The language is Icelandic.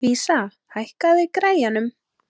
Vísa, hækkaðu í græjunum.